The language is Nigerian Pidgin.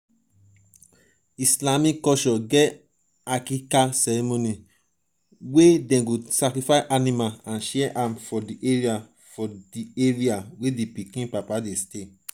islamic culture get aqiqah ceremony wey dem go sacrifice animal and share am for di area for di area